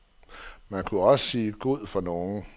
Man kunne også sige god for nogen.